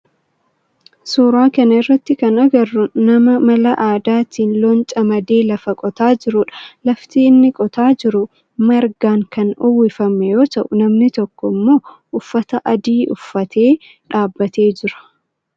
Suuraa kana irratti kan agarru nama mala aadaatin loon camadee lafa qotaa jirudha. Lafti inni qotaa jiru margaan kan uwwifame yoo ta'u namni tokko immoo uffata adii uffatee dhaabbatee jira.